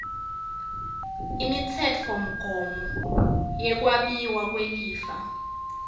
imitsetfomgomo yekwabiwa kwelifa